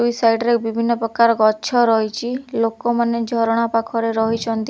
ଦୁଇ ସାଇଡ୍ ରେ ବିଭିନ୍ନ ପ୍ରକାର ଗଛ ରହିଚି ଲୋକମାନେ ଝରଣା ପାଖରେ ରହିଛନ୍ତି।